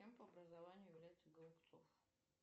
кем по образованию является голубцов